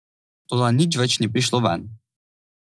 Toda nič več ni prišlo ven.